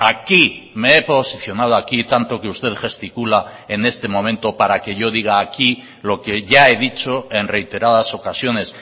aquí me he posicionado aquí tanto que usted gesticula en este momento para que yo diga aquí lo que ya he dicho en reiteradas ocasiones